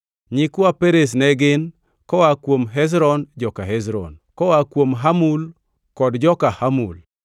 Nyikwa Perez ne gin: koa kuom Hezron, joka Hezron; koa kuom Hamul, kod joka Hamul.